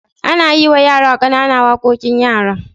Ana yima yara ƙanana waƙoƙin yara.